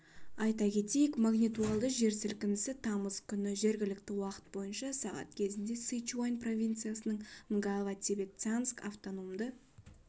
айта кетейік магнитудалы жер сілкінісі тамыз күні жергілікті уақыт бойынша сағат кезінде сычуань провинциясының нгава-тибет-цянск автономды